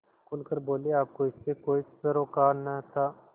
खुल कर बोलेआपको इससे कोई सरोकार न था